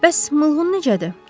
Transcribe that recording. Bəs Mılgın necədir?